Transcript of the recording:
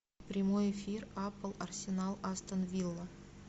прямой эфир апл арсенал астон вилла